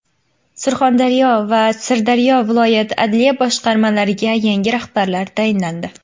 Surxondaryo va Sirdaryo viloyat adliya boshqarmalariga yangi rahbarlar tayinlandi.